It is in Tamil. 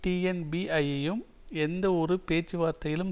டிஎன்பியையும் எந்த ஒரு பேச்சுவார்த்தையிலும்